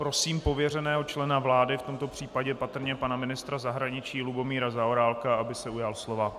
Prosím pověřeného člena vlády, v tomto případě patrně pana ministra zahraničí Lubomíra Zaorálka, aby se ujal slova.